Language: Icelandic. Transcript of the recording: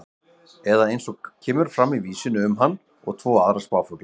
Eða eins og kemur fram í vísunni um hann og tvo aðra spáfugla: